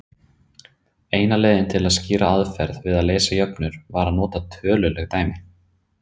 Eina leiðin til að skýra aðferðir við að leysa jöfnur var að nota töluleg dæmi.